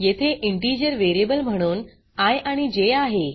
येथे integer variable म्हणून I आणि जे आहे